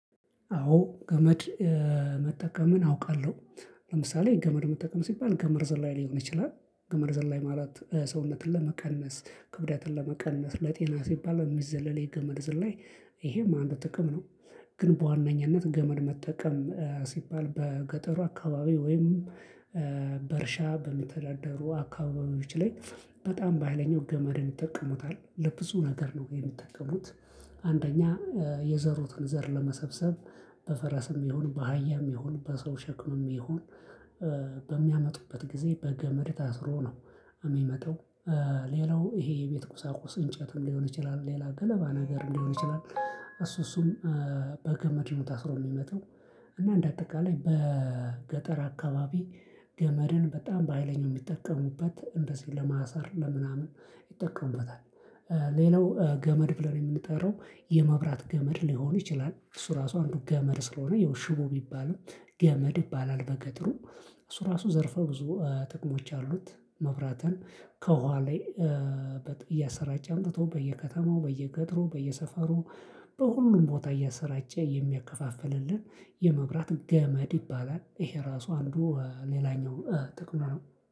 አዎ ገመድ መጠቀምን አውቃለሁ። ለምሳሌ ገመድ መጠቀም ሲባል ገመድ ዝላይ ሊሆን ይችላል ገመል ዝላይ ማለት ሰውነትን ለመቀነስ ክብደትን ለመቀነስ ለጤና ሲባል የሚዘለለ የገመድ ዝላይ ይሄም አንድ ጥቅም ነው። ግን በዋነኝነት ገመድ መጠቀም ሲባል በገጠሩ አካባቢ ወይም በእርሻ በምተዳደሩ አካባቢዎች ላይ በጣም በሃይለኛው ገመድን ይጠቀሙታል ለብዙ ነገር ነው የሚጠቀሙት። አንደኛ የዘሩትን ዘር ለመሰብሰብ በፈረስም ይሁን በአህያም ይሁን በሰው ሸክምም ይሁን በሚያመጡበት ጊዜ በገመድ ታስሮ ነው የሚመጣው። ሌላው ይሄ የቤት ቁሳቁስ እንጨትም ሊሆን ይችላል ሌላ ገለባ ነገርም ሊሆን ይችላል። እሱ እሱም በገመድ ነው ታስሮ የሚመጣው። እና እንደ አጠቃላይ በገጠር አካባቢ ገመድን በጣም በሃይለኛው የሚጠቀሙበት እንደዚህ ለማሳር ለምናምን ይጠቀሙበታል። ሌላው ገመድ ብለን የምንጠራው የመብራት ገመድ ሊሆን ይችላል እሱ ራሱ አንዱ ገመድ ስለሆነ ይኸው ሽቦ ቢባልም ገመድ ይባላል በገጠሩ እሱ ራሱ ዘርፈ ብዙ ጥቅሞች አሉት። መብራትን ከኋላ እያሰራጫ አምጥቶ በየከተማው በየገጥሩ በየሰፈሩ በሁሉም ቦታ እያሰራጨ የሚያከፋፍልልን የመብራት ገመድ ይባላል። ይሄ ራሱ አንዱ ሌላኛው ጥቅሙ ነው።